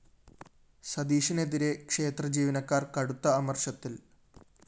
സതീഷിനെതിരെ ക്ഷേത്രജീവനക്കാര്‍ കടുത്ത അമര്‍ഷത്തില്‍